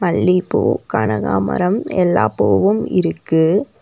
மல்லிப்பூ கனகாமரம் எல்லாப் பூவும் இருக்கு.